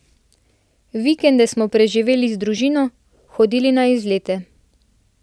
Vikende smo preživeli z družino, hodili na izlete.